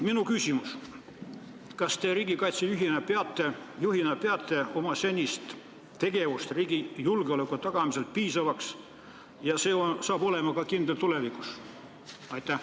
Minu küsimus: kas te riigikaitse juhina peate oma senist tegevust riigi julgeoleku tagamisel piisavaks ja see saab kindel olema ka tulevikus?